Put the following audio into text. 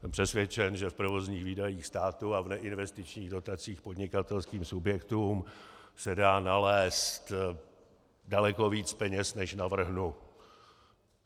Jsem přesvědčen, že v provozních výdajích státu a v neinvestičních dotacích podnikatelským subjektům se dá nalézt daleko víc peněz, než navrhnu.